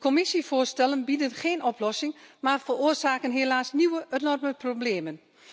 De Commissievoorstellen bieden geen oplossing, maar veroorzaken helaas nieuwe, enorme problemen.